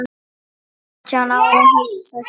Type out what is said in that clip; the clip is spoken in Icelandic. Átján ára, hugsa sér!